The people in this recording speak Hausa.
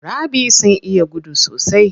Cheaters sun iya gudu sosai.